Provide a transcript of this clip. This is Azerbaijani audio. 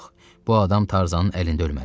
Yox, bu adam Tarzanın əlində ölməlidir.